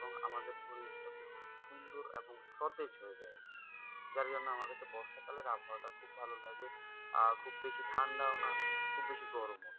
এখন সতেজ হয়ে যাই যার জন্য আমার কাছে বর্ষাকালের আবহাওয়াটা খুব ভালো লাগে আর খুব বেশি ঠান্ডাও না খুব বেশি না।